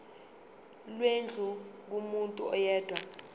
lwendlu kumuntu oyedwa